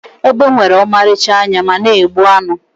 egbe nwere ọmarịcha anya ma na-egbu anụ